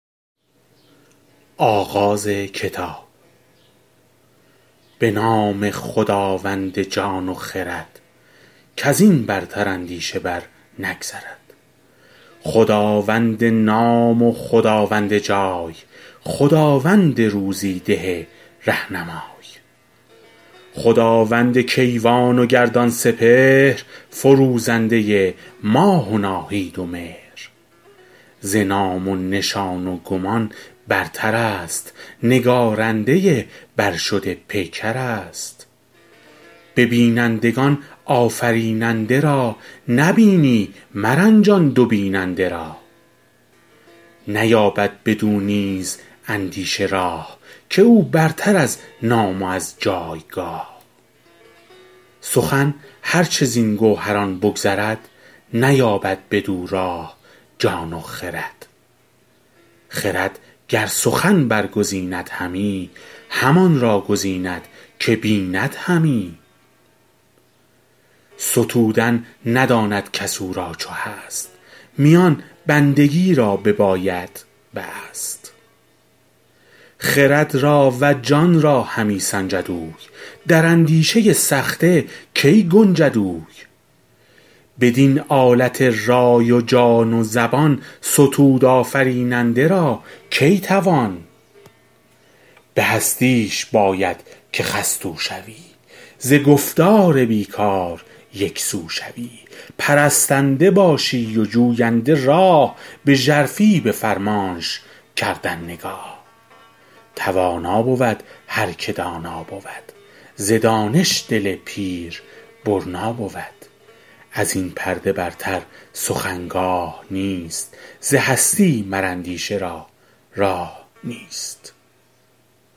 به نام خداوند جان و خرد کز این برتر اندیشه بر نگذرد خداوند نام و خداوند جای خداوند روزی ده رهنمای خداوند کیوان و گردان سپهر فروزنده ماه و ناهید و مهر ز نام و نشان و گمان برتر است نگارنده برشده پیکر است به بینندگان آفریننده را نبینی مرنجان دو بیننده را نیابد بدو نیز اندیشه راه که او برتر از نام و از جایگاه سخن هر چه زین گوهران بگذرد نیابد بدو راه جان و خرد خرد گر سخن برگزیند همی همان را گزیند که بیند همی ستودن نداند کس او را چو هست میان بندگی را ببایدت بست خرد را و جان را همی سنجد اوی در اندیشه سخته کی گنجد اوی بدین آلت رای و جان و زبان ستود آفریننده را کی توان به هستیش باید که خستو شوی ز گفتار بی کار یکسو شوی پرستنده باشی و جوینده راه به ژرفی به فرمانش کردن نگاه توانا بود هر که دانا بود ز دانش دل پیر برنا بود از این پرده برتر سخن گاه نیست ز هستی مر اندیشه را راه نیست